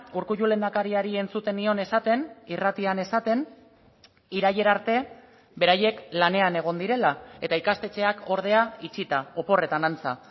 urkullu lehendakariari entzuten nion esaten irratian esaten irailera arte beraiek lanean egon direla eta ikastetxeak ordea itxita oporretan antza